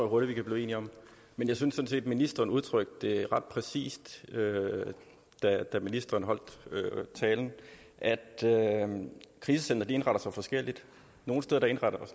hurtigt vi kan blive enige om men jeg synes sådan set ministeren udtrykte det ret præcist da ministeren holdt talen altså at krisecentre indretter sig forskelligt nogle steder indretter